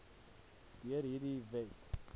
deur hierdie wet